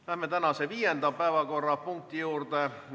Läheme tänase viienda päevakorrapunkti juurde.